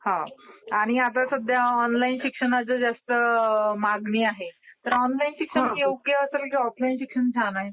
हां. आणि आता सध्या ऑनलाईन शिक्षणाला जास्त मागणी आहे. तर ऑनलाईन शिक्षण योग्य का ऑफलाईन शिक्षण छान आहे?